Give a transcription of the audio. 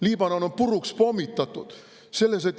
Liibanon on puruks pommitatud.